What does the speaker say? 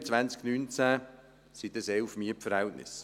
Im 2019 waren das 11 Mietverhältnisse.